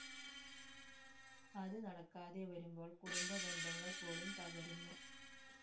അത് നടക്കാതെ വരുമ്പോൾ കുടുംബ ബന്ധങ്ങൾ പോലും തകരുന്നു